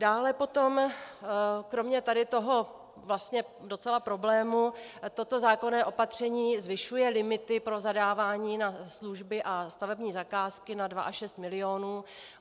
Dále potom kromě tady toho vlastně docela problému toto zákonné opatření zvyšuje limity pro zadávání na služby a stavební zakázky na 2 až 6 milionů.